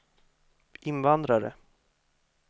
invandrare